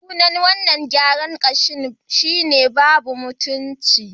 Sunan wannan gyaran gashin "babu mutunci"